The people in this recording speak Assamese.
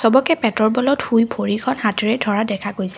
চৱকে পেটৰ বলত শুই ভৰিখন হাতেৰে ধৰা দেখা গৈছে।